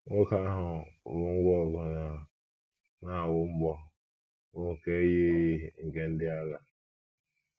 Nwoke ahụ bu ngwá ọgụ na - awụ mgbọ bụ́ nke yiri nke ndị agha.